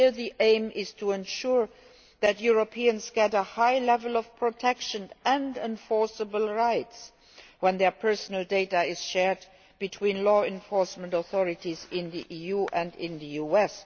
Here the aim is to ensure that Europeans get a high level of protection and enforceable rights when their personal data is shared between law enforcement authorities in the EU and in the US.